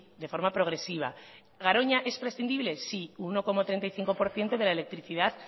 de forma progresiva garoña es prescindible sí uno coma treinta y cinco por ciento de la electricidad